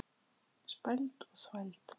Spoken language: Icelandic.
Spæld og þvæld.